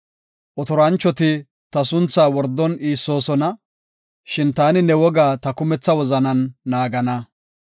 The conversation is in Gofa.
Otoranchoti ta sunthaa wordon iissoosona; shin ta ne wogaa ta kumetha wozanan naagana.